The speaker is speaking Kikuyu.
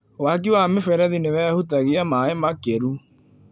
Waki wa mĩberethi nĩwehutagia maĩ makĩru.